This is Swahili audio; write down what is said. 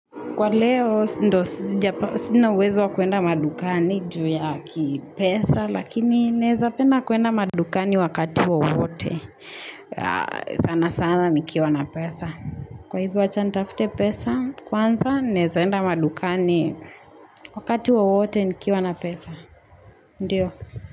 Kwa leo ndio sina uwezo wa kuenda madukani juu ya kipesa, lakini naweza penda kuenda madukani wakati wowote, sana sana nikiwa na pesa. Kwa hivyo, acha nitafute pesa kwanza, naweza enda madukani wakati wowote, nikiwa na pesa, ndiyo.